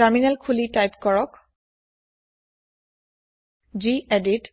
terminal খুলি type কৰক গেদিত